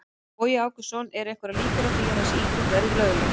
Bogi Ágústsson: Eru einhverjar líkur á því að þessi íþrótt verði gerð lögleg?